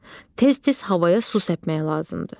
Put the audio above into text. Tez-tez havaya su səpmək lazımdır.